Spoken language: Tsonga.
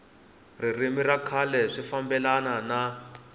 ririmi ra kahle swi fambelana